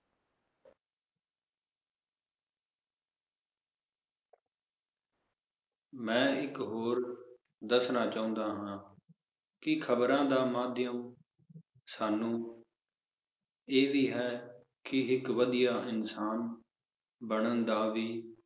ਮੈ ਇੱਕ ਹੋਰ ਦੱਸਣਾ ਚਾਹੁੰਦਾ ਹਾਂ, ਕਿ ਖਬਰਾਂ ਦਾ ਮਾਧਿਅਮ ਸਾਨੂੰ ਇਹ ਵੀ ਹੈ ਕਿ ਇੱਕ ਵਧੀਆ ਇਨਸਾਨ ਬਨਣ ਦਾ ਵੀ